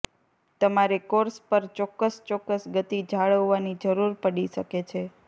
તમારે કોર્સ પર ચોક્કસ ચોક્કસ ગતિ જાળવવાની જરૂર પડી શકે છે